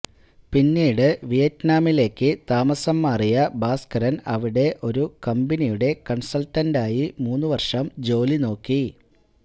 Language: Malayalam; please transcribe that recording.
പിന്നീട് വിയറ്റ്നാമിലേക്ക് താമസം മാറിയ ഭാസ്കരന് അവിടെ ഒരു കമ്പനിയുടെ കണ്സള്ട്ടന്റായി മൂന്ന് വര്ഷം ജോലി നോക്കി